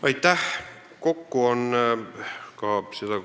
Aitäh!